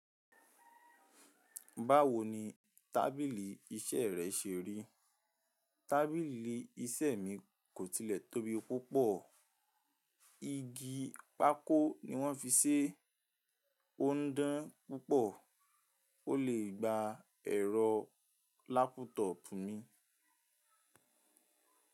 Báwo ni tábìlì iṣẹ́ rẹ ṣe rí? Tábìlì iṣẹ́ mi kò tilẹ̀ tóbi púpọ̀. Igi pákó ni wọ́n fi ṣé, ó ń dán púpọ̀ ó lè gba ẹ̀rọ lápútọ̀opù mi.